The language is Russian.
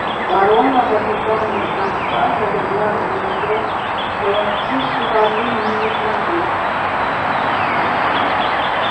ворона в ожидании самца залегла в гнездо была тише воды ниже травы